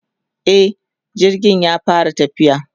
e jirgin ya fara tafiya